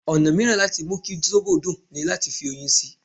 Ọ̀nà mìíràn láti mú kí sóbò dùn ní láti fi oyin sí i.